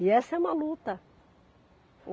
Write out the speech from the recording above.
E essa é uma luta.